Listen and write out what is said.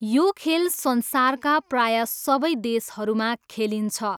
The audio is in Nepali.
यो खेल संसारका प्रायः सबै देशहरूमा खेलिन्छ।